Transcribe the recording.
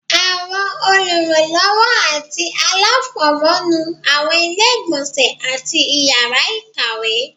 Àwọn olùrànlọwọ ati alafọmọ nú awọn ile-igbọnsẹ atí ìyara ìkàwé